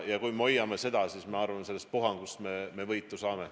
Kui me hoiame seda, siis ma arvan, et sellest puhangust me võitu saame.